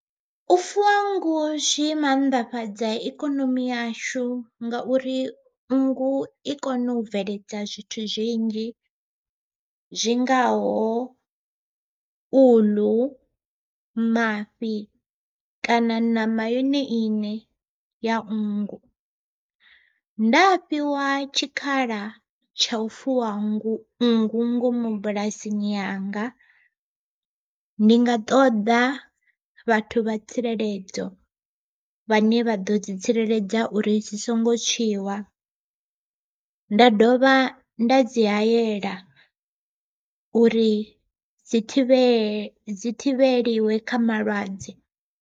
U fuwa nngu zwi mannḓafhadza ikonomi yashu ngauri nngu i kona u bveledza zwithu zwinzhi zwi ngaho uḽu, mafhi kana ṋama yone iṋe ya nngu. Nda fhiwa tshikhala tsha u fuwa nngu nngu ngomu bulasini yanga, ndi nga ṱoḓa vhathu vha tsireledzo vhane vha ḓo dzi tsireledza uri dzi songo tswiwa, nda dovha nda dzi hayela uri dzi thivhele dzi thivheliwe kha malwadze.